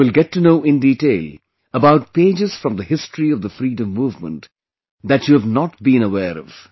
You will get to know in detail about pages from the history of the freedom movement that you have not been aware of